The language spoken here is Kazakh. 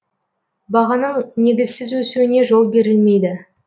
бағаның негізсіз өсуіне жол берілмейді